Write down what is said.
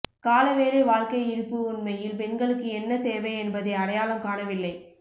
கால வேலை வாழ்க்கை இருப்பு உண்மையில் பெண்களுக்கு என்ன தேவை என்பதை அடையாளம் காணவில்லை